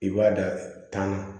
I b'a da tan